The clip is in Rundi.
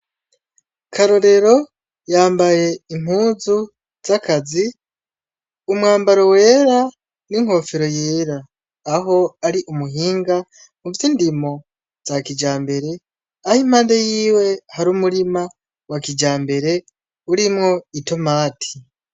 Karorero yambaye impuzu zakazi umwambaro wera n'inkofero yera aho ari umuhinga muvyo indimo za kijambere aho impande yiwe hari umurima wa kijambere urimwo itomati .